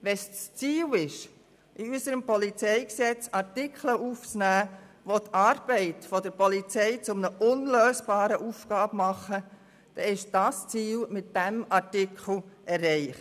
Wenn es das Ziel ist, in unserem PolG Artikel aufzunehmen, die die Arbeit der Polizei zu einer unlösbaren Aufgabe machen, dann ist dieses Ziel mit diesem Artikel erreicht.